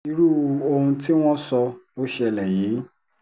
irú ohun tí wọ́n sọ ló ṣẹlẹ̀ yìí